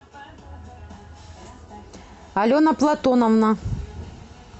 алена платоновна